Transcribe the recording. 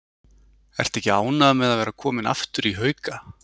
Ertu ekki ánægður með að vera kominn aftur í Hauka?